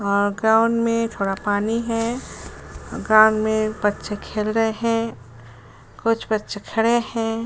और ग्राउंड में थोड़ा पानी है और ग्राउंड में बच्चे खेल रहे हैं। कुछ बच्चे खड़े हैं।